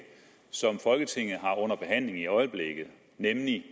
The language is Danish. som folketinget har under behandling i øjeblikket nemlig